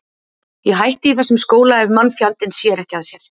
Ég hætti í þessum skóla ef mannfjandinn sér ekki að sér.